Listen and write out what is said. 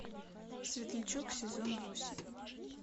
светлячок сезон восемь